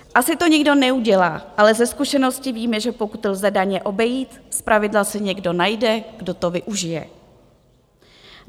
Asi to nikdo neudělá, ale ze zkušenosti víme, že pokud lze daně obejít, zpravidla se někdo najde, kdo to využije.